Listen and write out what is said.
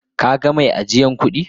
Ka gan mai ajiyan kudi?